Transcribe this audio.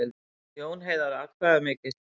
Jón Heiðar atkvæðamikill